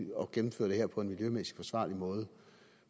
gennemføre det her på en miljømæssigt forsvarlig måde